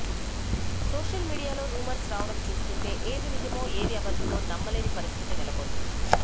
social మీడియాలో rumours రావడం చూస్తుంటే ఏది నిజమో ఏది అబద్దమో నమ్మలేని పరిస్థితి నెలకొంది